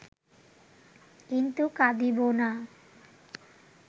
কিন্তু কাঁদিব না